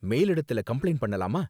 மேலிடத்துல complaint பண்ணலாமா?